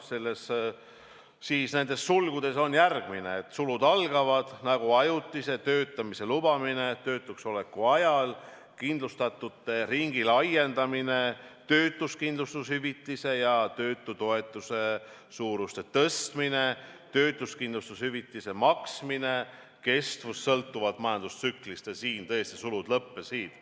Ja nendes sulgudes on järgmine: sulud algavad –""– ja siin tõesti sulud lõppesid.